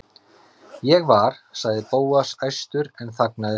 Ég var.- sagði Bóas æstur en þagnaði svo.